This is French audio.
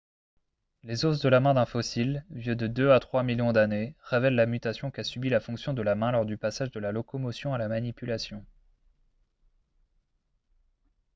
les os de la main d'un fossile vieux de deux à trois millions d'années révèlent la mutation qu'a subit la fonction de la main lors du passage de la locomotion à la manipulation